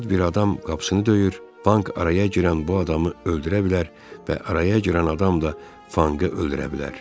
Yad bir adam qapısını döyür, Fank araya girən bu adamı öldürə bilər və araya girən adam da Fankı öldürə bilər.